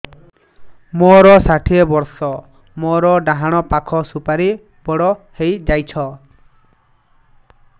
ମୋର ଷାଠିଏ ବର୍ଷ ମୋର ଡାହାଣ ପାଖ ସୁପାରୀ ବଡ ହୈ ଯାଇଛ